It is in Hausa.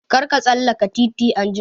Kar ka tsallaka titi anjima!